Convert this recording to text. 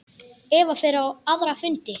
Eva fer á aðra fundi.